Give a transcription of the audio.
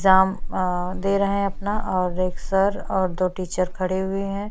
Exam अ दे रहै है अपना और एक सर और दो टीचर खड़े हुए है।